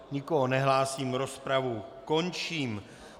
Nikoho nevidím, rozpravu končím.